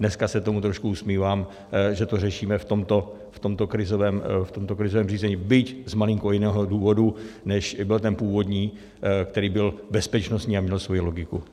Dneska se tomu trošku usmívám, že to řešíme v tomto krizovém řízení, byť z malinko jiného důvodu, než byl ten původní, který byl bezpečnostní a měl svoji logiku.